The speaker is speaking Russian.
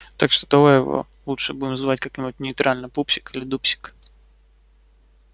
так что давай его лучше будем звать как-нибудь нейтрально пупсик или дупсик